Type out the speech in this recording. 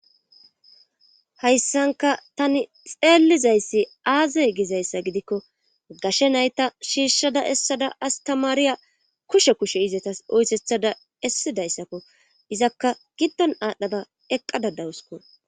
hayssanka tani xeelizayssi aazay gizayssa gidikko gashe nayta shiishshada essada astamaariya kushe kushe izetas oytethada essidayssakko izakka giddon aadhdhada eqqadadawusko